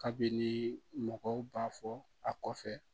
Kabini mɔgɔw b'a fɔ a kɔfɛ